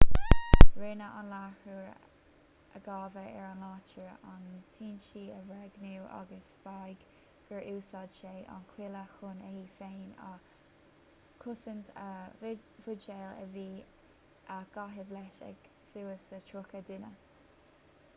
rinne an láithreoir a gabhadh ar an láthair an t-ionsaí a bhréagnú agus mhaígh gur úsáid sé an chuaille chun é féin a chosaint a bhuidéil a bhí á gcaitheamh leis ag suas le tríocha duine